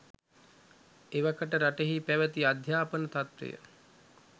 එවකට රටෙහි පැවැති අධ්‍යාපන තත්වය